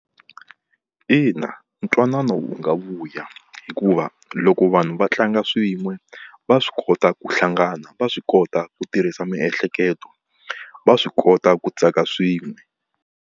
Ina, ntwanano wu nga vuya hikuva loko vanhu va tlanga swin'we va swi kota ku hlangana, va swi kota ku tirhisa miehleketo va swi kota ku tsaka swin'we.